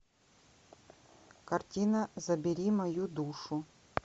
картина забери мою душу